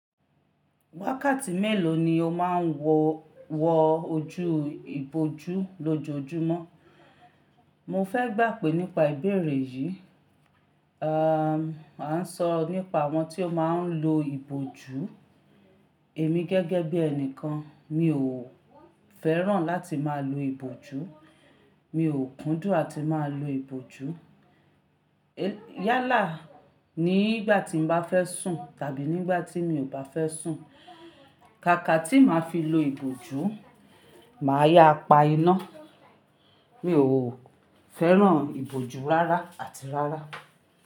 Wákàtí mélòó ni o má ń wọ ojú ìbòjú lójoojúmọ́? Mo fẹ́ gbà pé nípa ìbéèrè yìí, à, à ń sọ nípa àwọn tí ó má ń lo ìbòjú. Èmi gẹ́gẹ́ bí ẹnikan mi ò fẹ́ràn láti máa lo ìbòjú, mi ò kúndùn àti máa lo ìbòjú. Yálà nígbà tí mo bá fẹ́ sùn tàbí nígbà tí mi ò bá fẹ́ sùn, kákà tí màá fi lo ìbòjú, màá yáa pá iná. Mi ò fẹ́ràn ìbòjú rárá àti rárá.